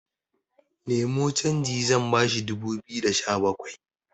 Nemo canji zan bashi dubu biyu da Sha bakwai